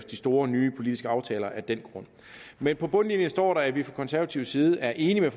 de store nye politiske aftaler af den grund men på bundlinjen står der at vi fra konservativ side er enige